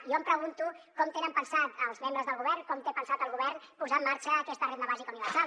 jo em pregunto com tenen pensat els membres del govern com té pensat el govern posar en marxa aquesta renda bàsica universal